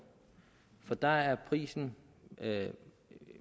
for der er prisen